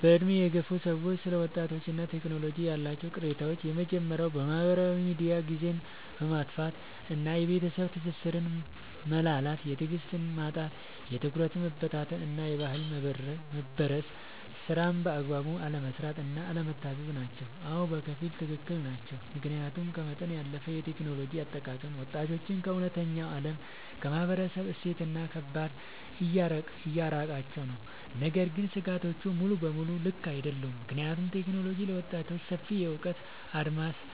በዕድሜ የገፉ ሰዎች ስለ ወጣቶችና ቴክኖሎጂ ያላቸው ቅሬታዎች የመጀመርያው በማህበራዊ ሚዲያ ጊዜን ማጥፋት እና የቤተሰብ ትስስር መላላት። የትዕግስት ማጣት፣ የትኩረት መበታተን እና የባህል መበረዝ። ስራን በአግባቡ አለመስራት እና አለመታዘዝ ናቸው። አዎ፣ በከፊል ትክክል ናቸው። ምክንያቱም ከመጠን ያለፈ የቴክኖሎጂ አጠቃቀም ወጣቶችን ከእውነተኛው ዓለም፣ ከማህበረሰብ እሴትና ከባህል እያራቃቸው ነው። ነገር ግን ስጋቶቹ ሙሉ በሙሉ ልክ አይደሉም፤ ምክንያቱም ቴክኖሎጂ ለወጣቶች ሰፊ የእውቀት አድማስን፣